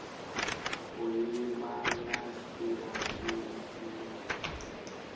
u ima na sia lifhio